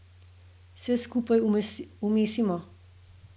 Vse skupaj umesimo.